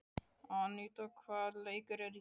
Aníta, hvaða leikir eru í kvöld?